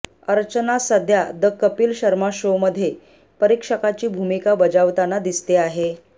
अर्चना सध्या द कपिल शर्मा शोमध्ये परीक्षकाची भूमिका बजावताना दिसते आहे